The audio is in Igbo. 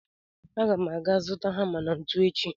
Aga m ga zụta hama na ntu echi